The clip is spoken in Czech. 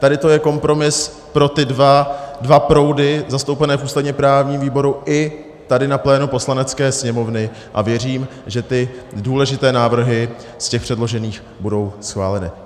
Tady to je kompromis pro ty dva proudy zastoupené v ústavně-právním výboru i tady na plénu Poslanecké sněmovny a věřím, že ty důležité návrhy z těch předložených budou schváleny.